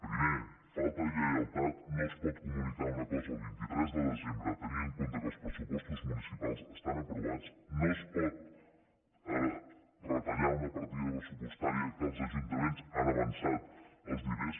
primer falta de lleialtat no es pot comunicar una cosa el vint tres de desembre tenint en compte que els pressupostos municipals estan aprovats no es pot retallar una partida pressupostària de què els ajuntaments han avançat els diners